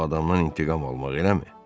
O adamdan intiqam almaq, eləmi?